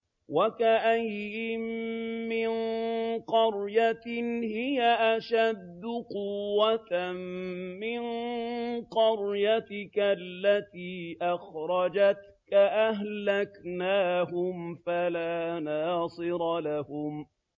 وَكَأَيِّن مِّن قَرْيَةٍ هِيَ أَشَدُّ قُوَّةً مِّن قَرْيَتِكَ الَّتِي أَخْرَجَتْكَ أَهْلَكْنَاهُمْ فَلَا نَاصِرَ لَهُمْ